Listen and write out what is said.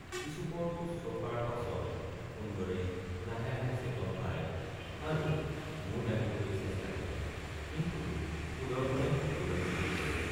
কিছুপৰ শুশ্ৰূষাৰ পাছত সুন্দৰে লাহে লাহে চেতন পায় আৰু মূৰ দাঙিবলৈ চেষ্টা কৰে কিন্তু সুদৰ্শনে উঠিবলৈ নিদিয়ে।